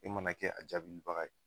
E mana kɛ a jaabili baga ye.